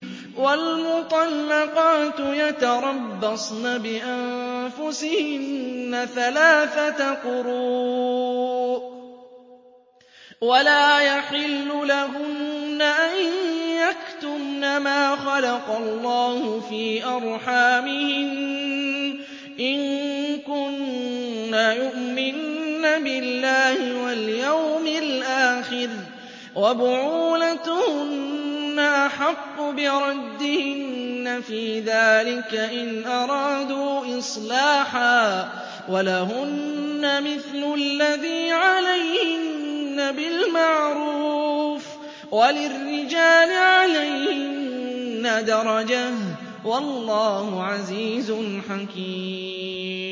وَالْمُطَلَّقَاتُ يَتَرَبَّصْنَ بِأَنفُسِهِنَّ ثَلَاثَةَ قُرُوءٍ ۚ وَلَا يَحِلُّ لَهُنَّ أَن يَكْتُمْنَ مَا خَلَقَ اللَّهُ فِي أَرْحَامِهِنَّ إِن كُنَّ يُؤْمِنَّ بِاللَّهِ وَالْيَوْمِ الْآخِرِ ۚ وَبُعُولَتُهُنَّ أَحَقُّ بِرَدِّهِنَّ فِي ذَٰلِكَ إِنْ أَرَادُوا إِصْلَاحًا ۚ وَلَهُنَّ مِثْلُ الَّذِي عَلَيْهِنَّ بِالْمَعْرُوفِ ۚ وَلِلرِّجَالِ عَلَيْهِنَّ دَرَجَةٌ ۗ وَاللَّهُ عَزِيزٌ حَكِيمٌ